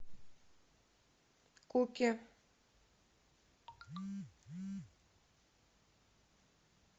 куки